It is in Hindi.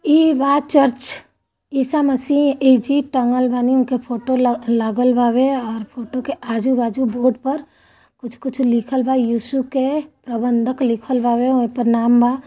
ई बा चर्च। ईसा मसीह ऐजा टंगल बानी उनके फोटो ल लागल वावे और फोटो के आजू- बाजु बोर्ड पर कुछ- कुछ लिखल बा। यिसु के प्रबधक लिखलवावे। ओईपर नाम बा--